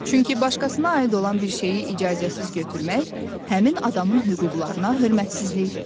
Çünki başqasına aid olan bir şeyi icazəsiz götürmək həmin adamın hüquqlarına hörmətsizlikdir.